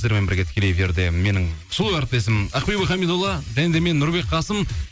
сіздермен бірге тікелей эфирде менің сұлу әріптесім ақбибі хамидолла және де мен нұрбек қасым